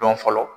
Dɔn fɔlɔ